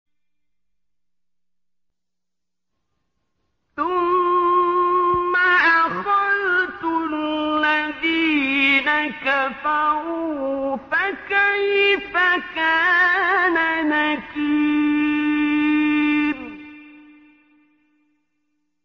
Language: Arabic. ثُمَّ أَخَذْتُ الَّذِينَ كَفَرُوا ۖ فَكَيْفَ كَانَ نَكِيرِ